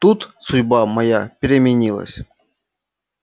тут судьба моя переменилась